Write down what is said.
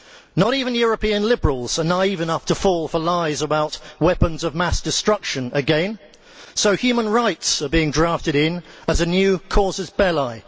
Not even European liberals are naive enough to fall for lies about weapons of mass destruction again, so human rights are being drafted in as a new casus belli